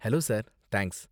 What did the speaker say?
Hello, sir! Thanks.